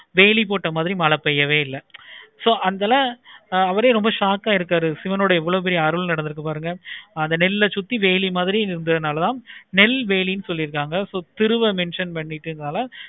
வெளி போட்ட மாதிரியே மழை பெய்யவே இல்லை. so அந்த இதுல அவரே ரொம்ப shock ஆகிறுக்கறு. சிவனுடைய இவளோ பெரிய அருள் இருக்கு பாருங்க அந்த நெல்லை சுத்தி வேலி மாதிரி இருந்ததனால் தான் நெல்வேலி சொல்லிருக்காங்க so திருவ mention பண்ணிட்டு